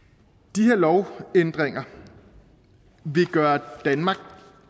de her lovændringer vil gøre danmark